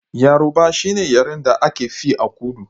Yaroba shine yaren da aka fi a kudu